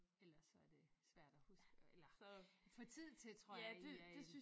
Ellers så er det svært at huske at eller få tid til egentlig er en